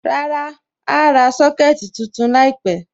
Rárá, a à ra Sọ́kẹ̀tì tuntun láìpẹ̀.